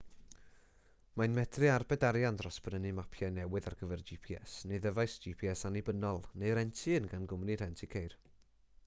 mae'n medru arbed arian dros brynu mapiau newydd ar gyfer gps neu ddyfais gps annibynnol neu rentu un gan gwmni rhentu ceir